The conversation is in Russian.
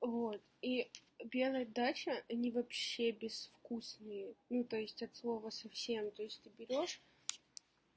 вот и пьяная дача они вообще безвкусные ну то есть от слова совсем то есть ты берёшь